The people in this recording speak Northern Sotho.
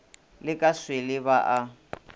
le ka swele ba a